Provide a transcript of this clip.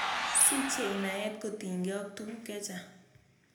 Sichei naet kotinykei ak tuguk che chang'.